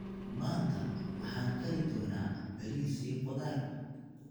Maanta waxaan kari doonaa bariis iyo khudaar.